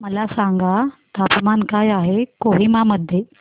मला सांगा तापमान काय आहे कोहिमा मध्ये